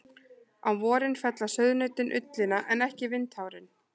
Á vorin fella sauðnautin ullina en ekki vindhárin.